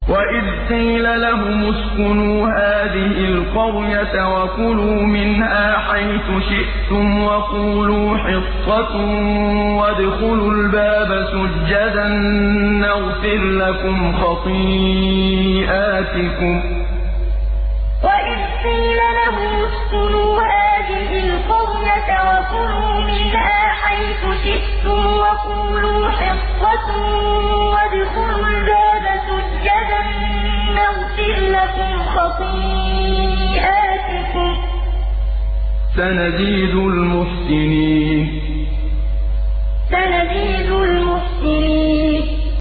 وَإِذْ قِيلَ لَهُمُ اسْكُنُوا هَٰذِهِ الْقَرْيَةَ وَكُلُوا مِنْهَا حَيْثُ شِئْتُمْ وَقُولُوا حِطَّةٌ وَادْخُلُوا الْبَابَ سُجَّدًا نَّغْفِرْ لَكُمْ خَطِيئَاتِكُمْ ۚ سَنَزِيدُ الْمُحْسِنِينَ وَإِذْ قِيلَ لَهُمُ اسْكُنُوا هَٰذِهِ الْقَرْيَةَ وَكُلُوا مِنْهَا حَيْثُ شِئْتُمْ وَقُولُوا حِطَّةٌ وَادْخُلُوا الْبَابَ سُجَّدًا نَّغْفِرْ لَكُمْ خَطِيئَاتِكُمْ ۚ سَنَزِيدُ الْمُحْسِنِينَ